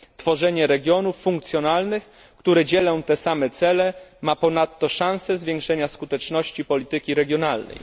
Tworzenie regionów funkcjonalnych, które dzielą te same cele, ma ponadto szansę zwiększenia skuteczności polityki regionalnej.